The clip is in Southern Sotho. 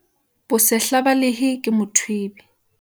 bosehla ba lehe ke mothwebe